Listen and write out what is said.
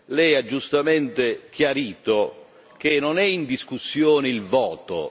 Lei ha giustamente chiarito che non è in discussione il voto.